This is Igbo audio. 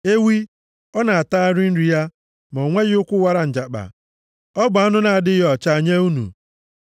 Ewi: Ọ na-atagharị nri ya, ma o nweghị ụkwụ wara njakpa. Ọ bụ anụ na-adịghị ọcha nye unu.